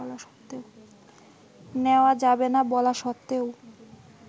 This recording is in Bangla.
নেওয়া যাবে না বলা সত্ত্বেও